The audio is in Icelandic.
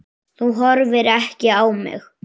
Þú horfir ekki á mig.